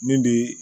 Min bi